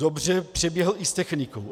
Dobře, přeběhl i s technikou.